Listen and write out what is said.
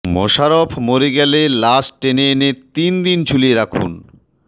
মোশাররফ মরে গেলে লাশ টেনে এনে তিন দিন ঝুলিয়ে রাখুন